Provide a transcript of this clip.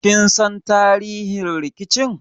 Kin san tarihin rikicin?